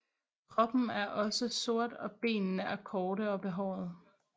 Kroppen er også sort og benene er korte og behårede